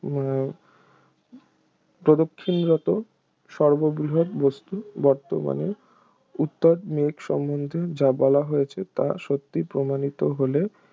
উহ প্রদক্ষিণরত সর্ববৃহৎ বস্তু বর্তমানে উওর মেঘ সম্বন্ধে যা বলা হয়েছে তা সত্যি প্রমাণিত হলে